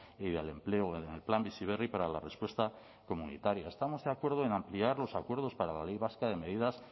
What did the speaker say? y del empleo en el plan bizi berri para la respuesta comunitaria estamos de acuerdo en ampliar los acuerdos para la ley vasca de medidas